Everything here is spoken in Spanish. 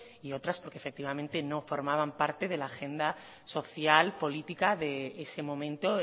y otras porque efectivamente no formaban parte de la agenda social política de ese momento